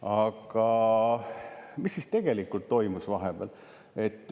Aga mis siis tegelikult toimus vahepeal?